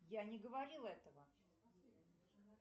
я не говорила этого